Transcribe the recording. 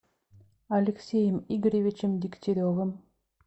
алексеем игоревичем дегтяревым